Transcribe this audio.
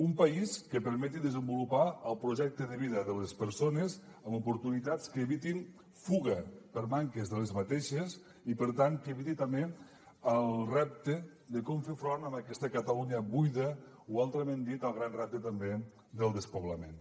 un país que permeti desenvolupar el projecte de vida de les persones amb oportunitats que evitin fuga per manques d’aquestes i per tant que eviti també el repte de com fer front a aquesta catalunya buida o altrament dit el gran repte també del despoblament